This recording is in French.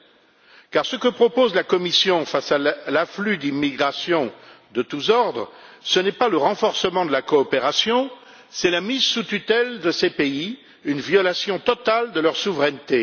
En effet, ce que propose la Commission face à l'afflux d'immigrants de tous ordres, ce n'est pas le renforcement de la coopération, mais la mise sous tutelle de ces pays, une violation totale de leur souveraineté.